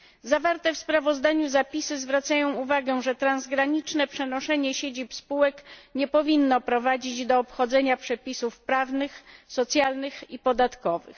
Zawarte w sprawozdaniu zapisy zwracają uwagę, że transgraniczne przenoszenie siedzib spółek nie powinno prowadzić do obchodzenia przepisów prawnych, socjalnych i podatkowych.